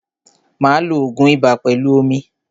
Máa lo ògun ibà pẹlú omi.